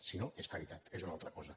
si no és caritat és una altra cosa